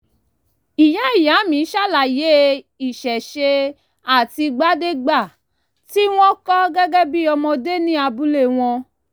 ìyá ìyá mi ṣàlàyé ìṣẹ̀ṣe àtìgbàdégbà tí wọ́n kọ́ gẹ́gẹ́ bí ọmọdé ní abúlé wọn